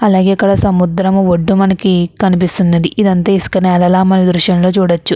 అలాగే ఇక్కడ సముద్రము ఒడ్డు మనకి కనిపిస్తున్నది ఇదంతా ఇసుకనెల మన దృశ్యంలో చూడచ్చు.